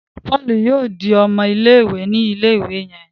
Paul yóò dì ọmọ ilé-ìwé ní ilé-ìwé yen.